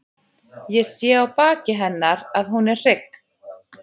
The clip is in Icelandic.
Ég sé á baki hennar að hún er hrygg.